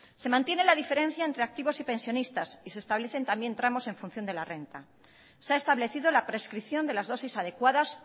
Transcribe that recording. se mantiene la diferencia entre activos y pensionistas y se establecen también tramos en función de la renta se ha establecido la prescripción de las dosis adecuadas